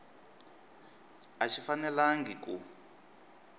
a xi fanelangi ku